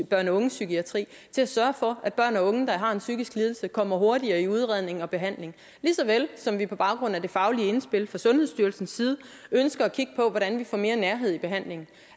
børne og ungepsykiatri til at sørge for at børn og unge der har en psykisk lidelse kommer hurtigere i udredning og behandling lige så vel som vi på baggrund af det faglige indspil fra sundhedsstyrelsen ønsker at kigge på hvordan vi får mere nærhed i behandlingen